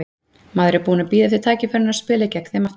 Maður er búinn að bíða eftir tækifærinu á að spila gegn þeim aftur.